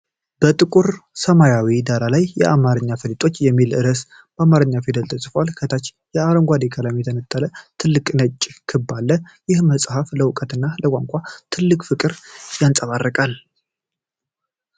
በጥቁር ሰማያዊ ዳራ ላይ "የአማርኛ ፈሊጦች" የሚል ርዕስ በአማርኛ ፊደላት ተጽፏል። ከታች በአረንጓዴ ቀለም የተነጠለ ትልቅ ነጭ ክብ አለ። ይህ መጽሐፍ ለእውቀትና ለቋንቋ ትልቅ ፍቅርን ያንጸባርቃል።